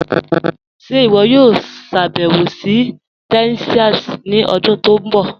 Ṣe iwọ yòò ṣàbẹwo sí Texas ni ọdún tó nbọ?